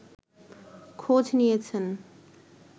খোঁজ নিয়েছেন